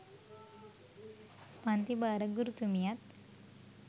පන්තිභාර ගුරුතුමියත්